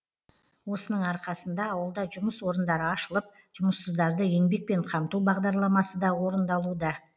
осының арқасында ауылда жұмыс орындары ашылып жұмыссыздарды еңбекпен қамту бағдарламасы да орындалуда